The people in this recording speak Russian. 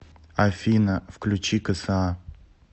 афина включи кэсэа